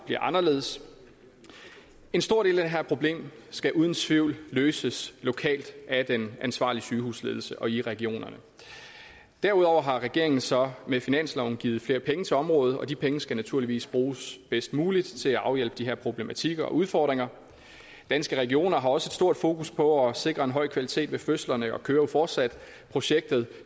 bliver anderledes en stor del af det her problem skal uden tvivl løses lokalt af den ansvarlige sygehusledelse og i regionerne derudover har regeringen så med finansloven givet flere penge til området og de penge skal naturligvis bruges bedst muligt til at afhjælpe de her problematikker og udfordringer danske regioner har også et stort fokus på at sikre en høj kvalitet ved fødslerne og kører jo fortsat projektet